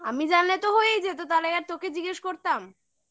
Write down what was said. আমি জানলে তো হয়েই যেত তাহলে আর তোকে জিজ্ঞেস করতাম